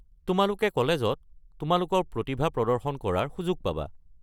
তোমালোকে কলেজত তোমালোকৰ প্ৰতিভা প্ৰদৰ্শন কৰাৰ সুযোগ পাবা।